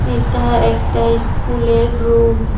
এটা একটা ইস্কুলের রুম ।